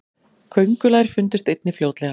köngulær fundust einnig fljótlega